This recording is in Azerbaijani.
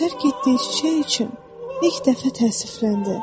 O tərk etdiyi çiçək üçün ilk dəfə təəssüfləndi.